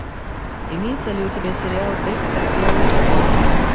имеется ли у тебя сериал декстер первый сезон